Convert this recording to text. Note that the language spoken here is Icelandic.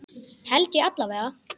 Held ég alla vega.